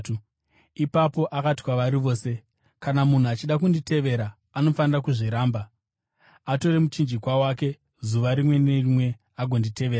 Ipapo akati kwavari vose, “Kana munhu achida kunditevera, anofanira kuzviramba atore muchinjikwa wake zuva rimwe nerimwe agonditevera.